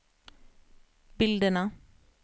bilderna